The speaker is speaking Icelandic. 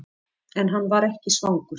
En hann var ekki svangur.